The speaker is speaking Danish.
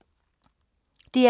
DR K